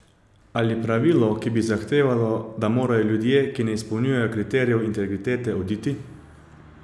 Ali pravilo, ki bi zahtevalo, da morajo ljudje, ki ne izpolnjujejo kriterijev integritete, oditi?